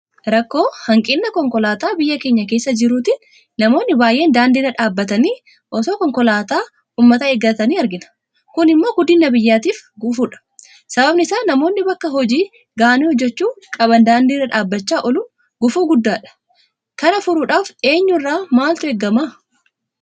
Rakkoo hanqina konkolaataa biyya keenya kessa jiruutiin namoonni baay'een daandii irra dhaabbatanii itoo konkolaataa uummataa eeggatanii argina. Kun immoo guddina biyyaatiif gufuudha. Sababni isaa namoonni bakka hojii gahanii hojjechuu qaban daandii irra dhaabbachaa ooluun gufuu guddaadha. Kana furuudhaaf eenyu irraa maaltu eegama?